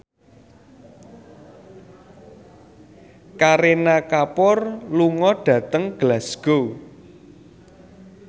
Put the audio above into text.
Kareena Kapoor lunga dhateng Glasgow